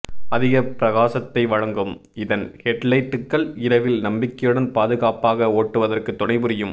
அதிக பிரகாசத்தை வழங்கும் இதன் ஹெட்லைட்டுகள் இரவில் நம்பிக்கையுடன் பாதுகாப்பாக ஓட்டுவதற்கு துணைபுரியும்